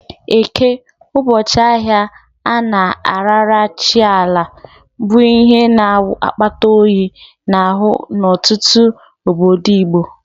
Eke, ụbọchị ahịa a na-arara chi Ala, bụ ihe na-awụ akpata oyi n'ahụ n'ọtụtụ obodo Igbo.